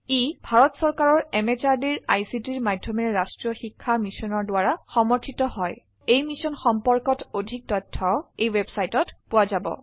ই ভাৰত চৰকাৰৰ MHRDৰ ICTৰ মাধয়মেৰে ৰাস্ত্ৰীয় শিক্ষা মিছনৰ দ্ৱাৰা সমৰ্থিত হয় এই মিশ্যন সম্পৰ্কত অধিক তথ্য spoken hyphen tutorial dot org slash এনএমইআইচিত হাইফেন ইন্ট্ৰ ৱেবচাইটত পোৱা যাব